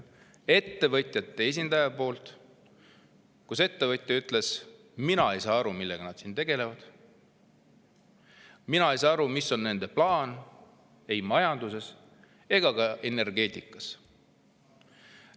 Ettevõtja ütles, et tema ei saa aru, millega nad tegelevad, tema ei saa aru, mis on nende plaan majanduses ja energeetikas.